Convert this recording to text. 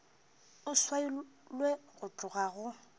e swailwe go tloga go